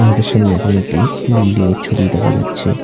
আমাদের সামনে এখন একটি বিল্ডিং -এর ছবি দেখা যাচ্ছে।